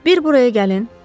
Bir buraya gəlin.